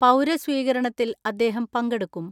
പൗരസ്വീകരണത്തിൽ അദ്ദേഹം പങ്കെടുക്കും.